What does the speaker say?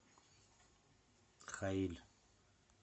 хаиль